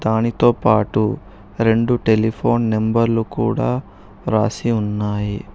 దానితోపాటు రెండు టెలిఫోన్ నెంబర్లు కూడా రాసి ఉన్నాయి.